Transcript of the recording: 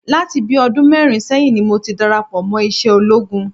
Láti bíi ọdún mẹ́rin sẹ́yìn ni mo ti darapọ̀ mọ́ iṣẹ́ ológun